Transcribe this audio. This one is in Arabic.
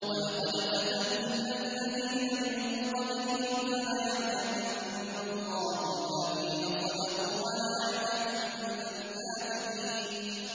وَلَقَدْ فَتَنَّا الَّذِينَ مِن قَبْلِهِمْ ۖ فَلَيَعْلَمَنَّ اللَّهُ الَّذِينَ صَدَقُوا وَلَيَعْلَمَنَّ الْكَاذِبِينَ